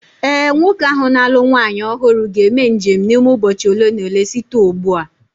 Ee, nwoke ahụ na-alụ nwaanyị ọhụrụ ga-eme njem n’ime ụbọchị ole na ole site ugbu a